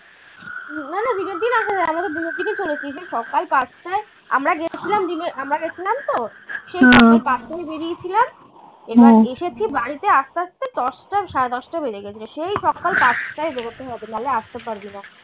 সে সকাল পাঁচটায় আমরা গেছিলাম দিনের আমরা গেছিলাম তো পাঁচটায় বেড়িয়েছিলাম এবার এসেছি বাড়িতে আসতে আসতে দশটা সাড়ে দশটা বেজে গেছে সেই সকাল পাঁচটায় বেরুতে হবে নালে আসতে পারবি না ।